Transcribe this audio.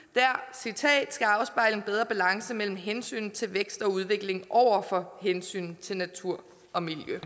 citat skal afspejle en bedre balance mellem hensynet til vækst og udvikling over for hensynet til natur og miljø